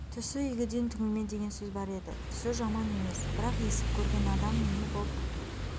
түсі игіден түңілме деген сөз бар еді түсі жаман емес бірақ есік көрген адам не боп